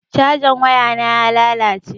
Cajan wayana ya lalace.